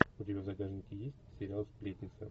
у тебя в загашнике есть сериал сплетница